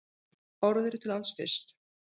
Orð eru til alls fyrst.